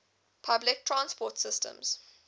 public transport systems